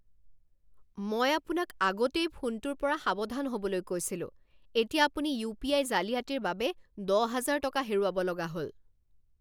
মই আপোনাক আগতেই ফোনটোৰ পৰা সাৱধান হ'বলৈ কৈছিলো। এতিয়া আপুনি ইউপিআই জালিয়াতিৰ বাবে দহ হাজাৰ টকা হেৰুৱাব লগা হ'ল।